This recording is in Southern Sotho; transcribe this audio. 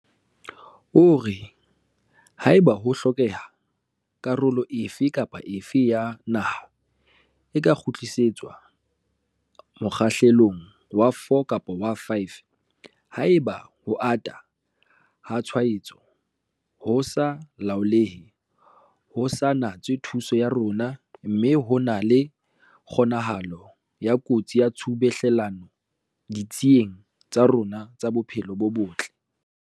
O re, "Haeba ho hlokeha, karolo efe kapa efe ya naha e ka kgutlisetswa mokgahlelong wa 4 kapa wa 5 haeba ho ata ha tshwaetso ho sa laolehe ho sa natswe thuso ya rona mme ho na le kgonahalo ya kotsi ya tshubuhlellano ditsing tsa rona tsa bophelo bo botle."